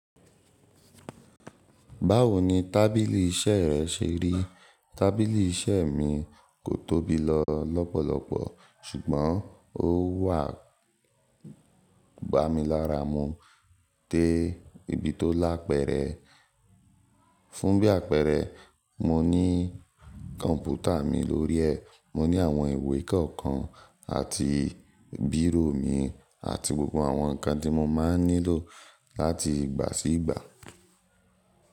Báwo ni tábìlì iṣẹ́ rẹ ṣe rí? Tábìlì iṣẹ́ mi kò tóbi lọ lọ́pọ̀lọpọ̀ ṣùgbọ́n ó wà gbámilaramu de ibi tó lá pẹ́ẹ́rẹ́. Fún bí àpẹẹrẹ, mo ní kọ̀mpútà mi lórí ẹ́, mo ní àwọn ìwé kọ̀ọ̀kan àti bírò mi àti gbogbo àwọn nǹkan tí mo máa ń nílò láti ìgbà sí ìgbà.